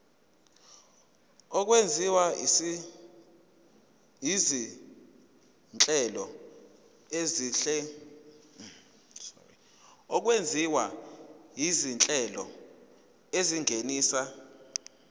okwenziwa izinhlelo ezingenisa